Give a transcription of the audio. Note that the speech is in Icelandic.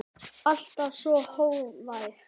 Alltaf svo hógvær.